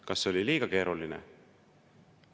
Kas oli liiga keeruline?